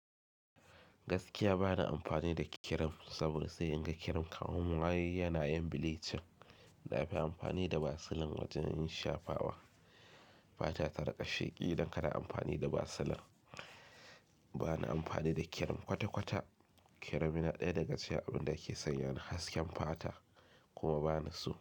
Gaskiya ba na amfani da kirim saboda sai in ga kirim kawai waye yana yin bilecin. Na fi amfani da basilin wajen yin shafawa. Fata ta riƙa sheƙi idan ka na amfani da basilin. Ba na amfani da kirim kwata-kwata. Kirim yana ɗaya daga cikin abinda yake sanya hasken fata kuma ba na so.